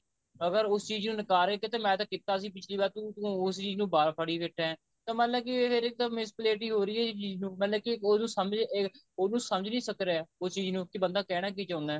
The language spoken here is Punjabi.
ਅਗਰ ਉਸ ਚੀਜ਼ ਨੂੰ ਨਿਕਾਰੇ ਕਿ ਮੈਂ ਤਾਂ ਕੀਤਾ ਸੀ ਪਿਛਲੀ ਵਾਰ ਤੂੰ ਉਸ ਚੀਜ਼ ਨੂੰ ਬਾਹਰ ਫੜੀ ਬੈਠਾ ਤਾਂ ਮਤਲਬ ਕਿ ਇਹ ਫੇਰ miss plate ਹੀ ਹੋ ਰਹੀ ਹੈ ਚੀਜ਼ ਨੂੰ ਮਤਲਬ ਕਿ ਉਹਨੂੰ ਸਮਝ ਨਹੀਂ ਸਕਰਿਆ ਉਸ ਚੀਜ ਨੂੰ ਕੇ ਬੰਦਾ ਕਹਿਣਾ ਕੀ ਚਾਹੁੰਦਾ